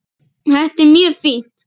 Þetta er mjög fínt.